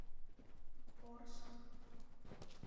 орск